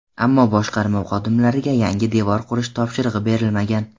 Ammo boshqarma xodimariga yangi devor qurish topshirig‘i berilmagan.